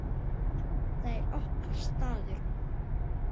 Þetta er okkar staður.